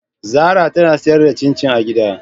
Zara tana sayar da cin cin a gida.